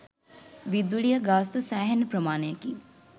විදුලිය ගාස්තු සෑහෙන ප්‍රමාණයකින්